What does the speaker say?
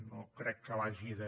no crec que l’hagi de